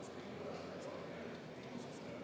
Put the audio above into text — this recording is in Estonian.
Sulgen läbirääkimised.